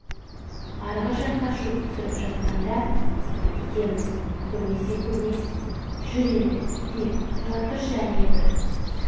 арғы жаққа шөп түсіріп жатқаңда зытып кетеміз көрмесе көрмесін жүр енді кетейік тұра тұршы әне бір